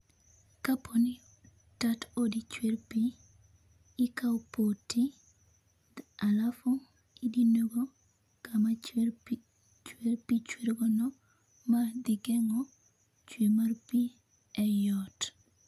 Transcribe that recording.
kapoi tat odi chwer pii ikao poti alafu idino go kama chwer pii chwer pii chwer gono mae dhi geng'o chwer mar pii eot.